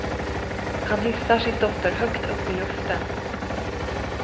Han hissar sin dotter högt upp i luften.